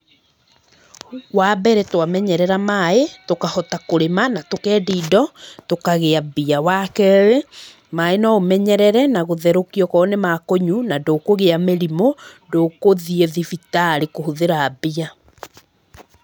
Wambere twamenyerera maĩ tũkahota kũrĩma na tũkendia indo, tũkagĩa mbia, wakerĩ, maĩ noũmenyerere na gũtherũkia oko nĩma kũnyu na ndũkũgĩa mĩrimũ, ndũkũthi thibitarĩ kũhũthĩra mbia.